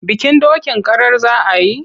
Bikin dokin karar za a yi?